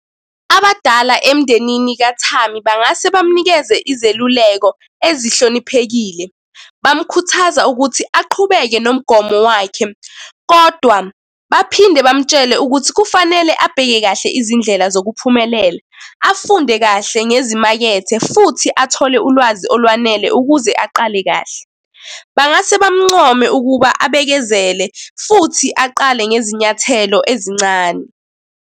Abadala emndenini kathami bangase bamunikeze izeluleko ezihloniphekile. Bamukhuthaza ukuthi aqhubeke nomgomo wakhe, kodwa baphinde bamutshele ukuthi kufanele abheke kahle izindlela zokuphumelela. Afunde kahle ngezimakethe, futhi athole ulwazi olwanele ukuze aqale kahle. Bangase bamuncome ukuba abekezele, futhi aqale ngezinyathelo ezincane.